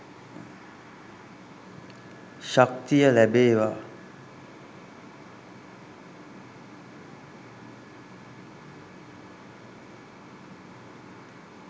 ශක්තිය ලැබේවා